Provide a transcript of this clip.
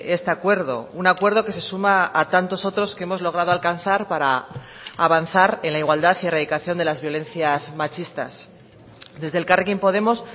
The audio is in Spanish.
este acuerdo un acuerdo que se suma a tantos otros que hemos logrado alcanzar para avanzar en la igualdad y erradicación de las violencias machistas desde elkarrekin podemos